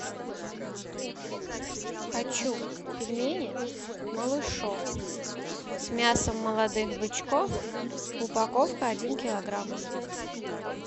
хочу пельмени малышок с мясом молодых бычков упаковка один килограмм